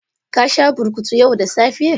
Ka sha burkutu yau da safe?